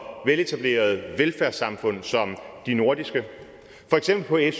veletablerede velfærdssamfund som de nordiske for eksempel er